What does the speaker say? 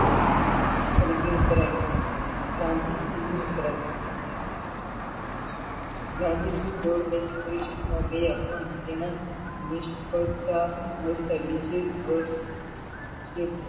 ગાંધીજી ગોળમેજી પરિષદમાં ગયા. પણ તેના નિષ્ફળતા મળતા બીજે વર્ષ